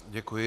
Děkuji.